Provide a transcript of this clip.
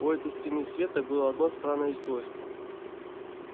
у этой стены света было одно странное свойство